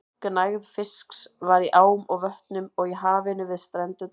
Gnægð fisks var í ám og vötnum og í hafinu við strendurnar.